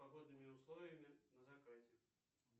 погодными условиями на закате